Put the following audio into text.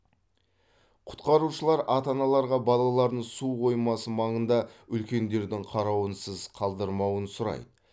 құтқарушылар ата аналарға балаларын су қоймасы маңында үлкендердің қарауынсыз қалдырмауын сұрайды